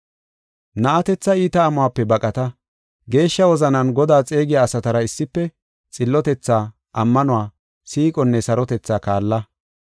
Na7atetha iita amuwape baqata. Geeshsha wozanan Godaa xeegiya asatara issife, xillotethaa, ammanuwa, siiqonne sarotethaa kaalla.